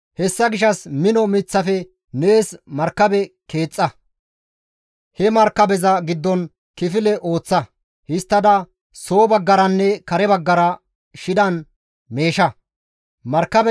Hessa gishshas mino miththafe nees markabe keexxa; he markabeza giddon kifile ooththa; histtada soo baggaranne kare baggara shidan meesha. Nohe markabe